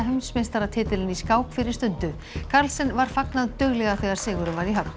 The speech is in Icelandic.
heimsmeistaratitilinn í skák fyrir stundu var fagnað duglega þegar sigurinn var í höfn